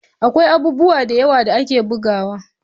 Akwai abubuwa da yawa da ake bugawa